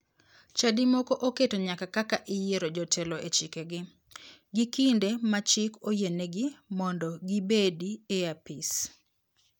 Chadi moko oketo nyaka kaka iyiero jotelo e chikegi, gi kinde ma chik oyienegi mondo gibedi e apis.